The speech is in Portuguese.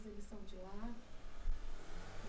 Eles são de lá?